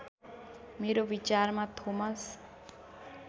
मेरो विचारमा थोमस